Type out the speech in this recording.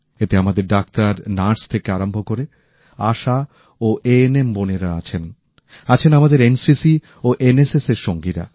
এতে আমাদের doctor nurse থেকে আরম্ভ করে আশা ও এএনএম বোনেরা আছেন আছেন আমাদের এনসিসি ও এনএসএসের সাথীরা